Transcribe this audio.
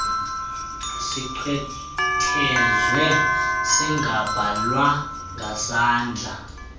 sichwethezwe singabhalwa ngesandla